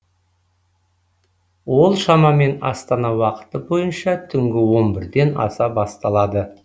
ол шамамен астана уақыты бойынша түнгі он бірден аса басталады